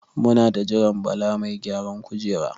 Muna ta jiran Bala mai gyaran kujera.